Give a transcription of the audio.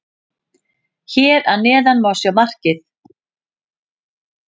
Hér að neðan má sjá markið.